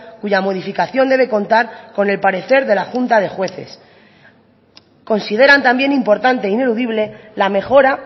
cuya modificación debe contar con el parecer de la junta de jueces consideran también importante e ineludible la mejora